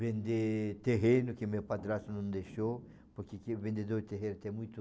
Vender terreno, que meu padrasto não deixou, porque aqui o vendedor de terreno tem muito...